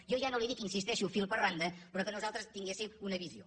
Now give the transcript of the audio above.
jo ja no li dic hi insisteixo fil per randa però que nosaltres en tinguéssim una visió